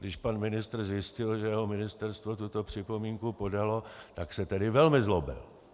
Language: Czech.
Když pan ministr zjistil, že jeho ministerstvo tuto připomínku podalo, tak se tedy velmi zlobil.